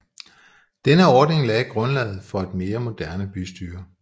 Denne ordning lagde grundlaget for et mere moderne bystyre